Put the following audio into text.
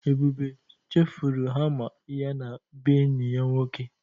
Ebube chefụrụ hama ya na bee enyi ya nwoke.